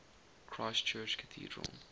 christ church cathedral